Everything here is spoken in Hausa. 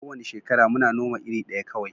Ko wani shekara muna noma iri daya kawai